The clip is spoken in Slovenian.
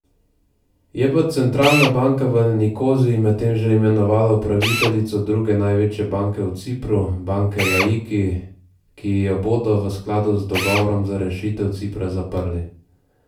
Je pa centralna banka v Nikoziji medtem že imenovala upraviteljico druge največje banke na Cipru, banke Laiki, ki jo bodo v skladu z dogovorom za rešitev Cipra zaprli.